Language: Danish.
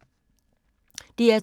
DR2